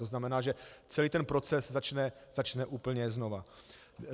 To znamená, že celý ten proces začne úplně znova.